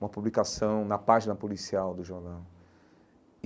uma publicação na página policial do jornal.